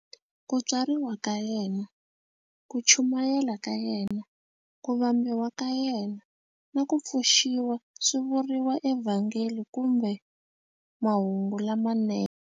Ku tswariwa ka yena, ku chumayela ka yena, ku vambiwa ka yena, na ku pfuxiwa swi vuriwa eVhangeli kumbe "Mahungu lamanene".